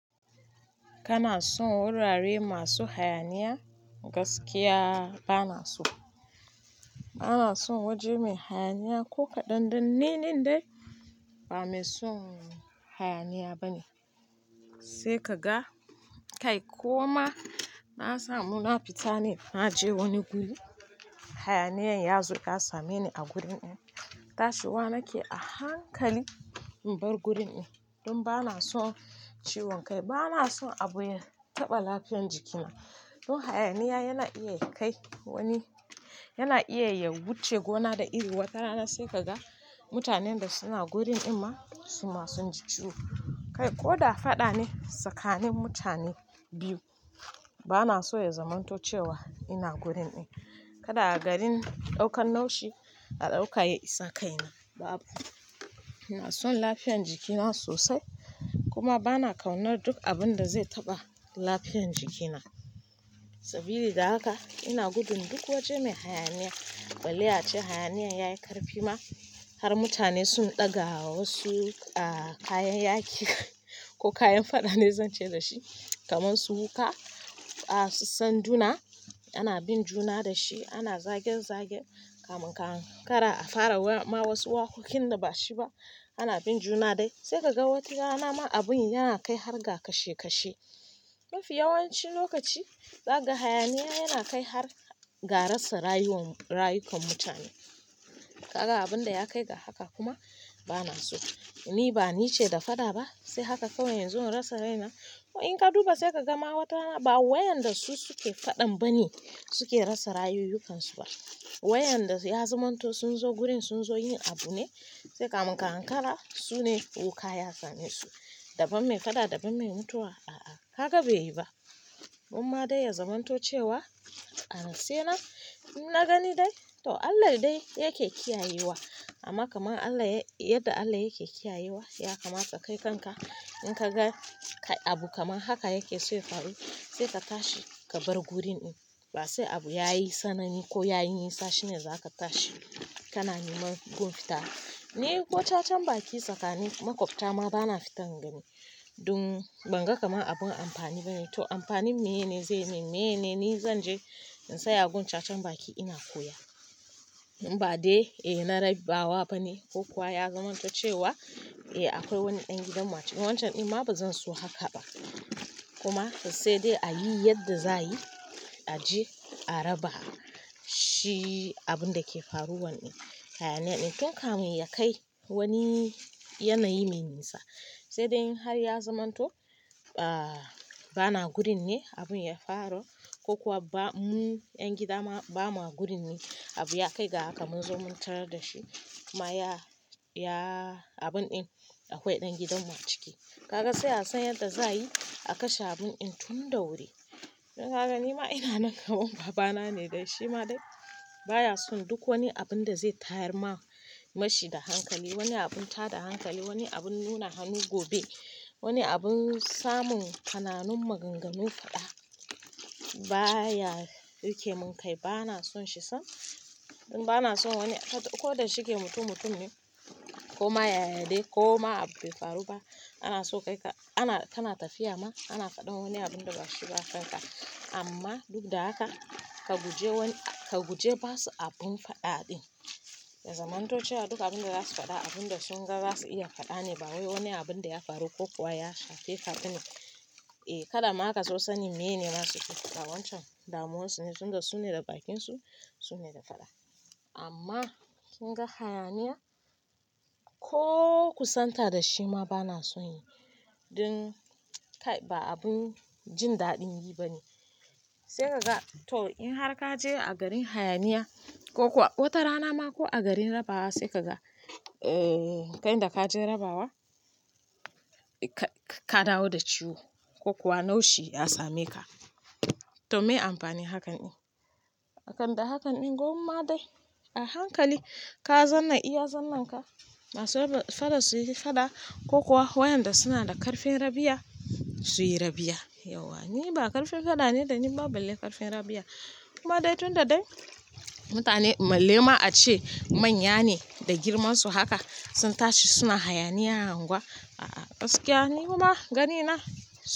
Kana son wurare masu hayaniya? Gaskiya ba na so. Ba na son waje mai hayaniya ko kaɗan dan ni nan dai ba mai son hayaniya bane. Sai ka ga kai ko ma na samu na fita ne, na je wani guri hayaniyan ya zo ya same ni a gurin in, tashiwa nake a hankali in bar gurin in don ba na son ciwon kai. Ba na son aɓuya taɓa lafiyan jikina. Don hayaniya yana iya kai wani, yana iya ya wuce gona da iri wata rana sai ka ga mutanen da suna gurin in ma su ma sun ji ciwo. Kai ko da faɗa ne tsakanin mutane biyu, ba na so ya zamanto cewa ina gurin in. Kada a garin ɗaukan naushi a ɗaukaye bisa kaina babu. Ina son lafiyan jikina sosai kuma ba na kawunar duk abun da zai taɓa lafiyan jikina. Sabili da haka ina gudun duk waje mai hayaniya balle ace hayaniyan yayi ƙarfi ma har mutane sun ɗaga wasu ah kayan yaƙi ko kayan faɗa ne zan ce da shi kamar su wuƙa, ah su sanduna, ana bin juna da shi, ana zage zage kamun ka hankara a fara ma wasu waƙoƙin da bashi ba, ana bin juna dai. Sai ka ga wata rana ma abun yana kai har ga kashe kashe. Mafi yawancin lokaci zaka ga hayaniya yana kai har ga rasa rayuwan rayukan mutane. Kaga abun da ya kai ga haka kuma ba na so. Ni ba nice da faɗa ba sai haka kawai inzo in rasa raina ko in ka duba sai ka ga ma wata rana ba wayanda su suke faɗan bane suke rasa rayukansu ba. Wayanda ya zamanto sun zo gurin sun zo yin abu ne sai kamun ka hankara su ne wuƙa ya same su. Daban mai faɗa daban mai mutuwa a'a haka bai yi ba. Uma dai ya zamanto cewa a na se nan in na gani dai to Allah dai yake kiyayewa amma kamar Allah yadda Allah yake kiyayewa ya kamata kai kanka in ka ga abu kamar haka yake so ya faru sai ka tashi ka bar gurin in. Ba sai abu yayi sanani ko yayi nisa shine za ka tashi kana neman gun fita. Ni ko cacan baki tsakanin makwabta ma ba na fita ingani don ban ga kamar abun amfani bane. To amfanin meye ne zai min? Meye ne ni zan je in tsaya gun cacan baki ina koya? Ba dai eh na rabi bawa bane ko kuwa ya zamanto cewa eh akwai wani ɗan gidan mu a ciki wancan in ma ba zan so haka ba. Kuma sai dai a yi yadda za a yi a je a raba shi abun da ke faruwan in. Hayaniya ɗin tun kamun ya kai wani yanayi mai nisa sai dai in har ya zamanto ba na gurin ne abun ya faru ko kuwa ba mu ƴan gida ma ba ma gurin ne abu ya kai ga haka mun zo mun tarar da shi kuma ya, ya abun in akwai ɗan gidan mu a ciki. Kaga sai a san yadda za a yi a kashe abun in tun da wuri. Don haka ni ma ina nan kaman baba na ne dai shi ma dai baya son duk wani abun da zai tayar ma mashi da hankali, wani abun tada hankali, wani abun nuna hannu gobe, wani abun samun kananun maganganun faɗa baya rike mun kai ba na son shi sam. Don ba na son wani ko da shike mutum mutum ne ko ma yaya dai ko ma abu bai faru ba ana so kai ka, ana kana tafiya ma ana faɗan wani abun da bashi ba a kanka. Amma duk da haka ka guje wani ka guje basu abun faɗa ɗin. Ya zamanto cewa duk abun da za su faɗa abun da sun ga za su iya faɗa ne ba wai wani abun da ya faru ko kuwa ya shafe ka ba ne. Eh kada ma ka so sanin meye ne za suyi ta fada wancan damuwan su ne tun da su ne da bakin su su ne da faɗa. Amma kunga hayaniya ko kusanta da shi ma ba na son yi. Don kai ba abun jin daɗin yi bane. Sai ka ga to in har ka je a garin hayaniya ko kuwa wata rana ma ko a garin rabawa sai ka ga eh kai da ka je rabawa ka dawo da ciwo ko kuwa naushi ya same ka. To mai amfani hakan in? Akan da hakan in gumma dai a hankali ka zanna iya zannan ka masu raba fada su yi faɗa ko kuwa wayanda suna da ƙarfin rabiya su yi rabiya. Yauwa ni ba ƙarfin faɗa ne da ni ba balle ƙarfin rabiya. Kuma dai tunda dai mutane balle ma ace manya ne da girmansu haka sun tashi suna hayaniya a anguwa a'a gaskiya ni ma gani na.